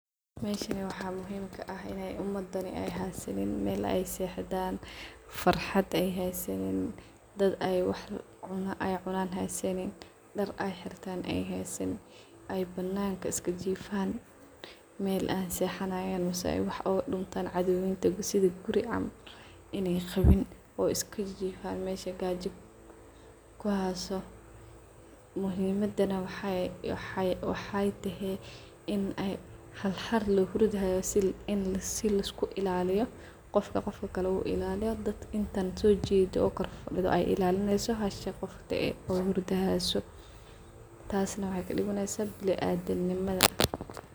Meshan waxaa muhimka ah in umadan ay haysanin mel ay sexdhan .Farxad ay haysanin , cuna ay cunan ay haysanin, dar ay haysanin , mel ay jiftah hasanin mel cadowga ay kagalayan mahaystan en hal hal lohurday si liskuilaliyo muhimadana waxay tsojedo inta kale ilalineyso kuwa hurdayan tas wa culeys ad u weyn madama biniadamka sas uqalmin waxaa lobahanyahay tas na waxay kadimaneysaah biniadamnimada.